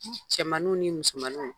Cɛmannu ni musomannu